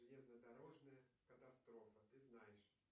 железнодорожная катастрофа ты знаешь